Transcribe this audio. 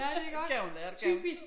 Kan hun lære det kan hun